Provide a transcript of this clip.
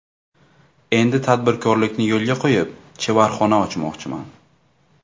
Endi tadbirkorlikni yo‘lga qo‘yib, chevarxona ochmoqchiman.